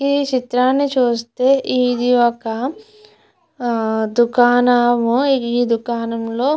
ఈ చిత్రాన్ని చూస్తే ఇది ఒక దుకాణము ఈ దుకాణంలో.